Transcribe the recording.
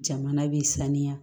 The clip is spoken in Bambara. Jamana bɛ sanuya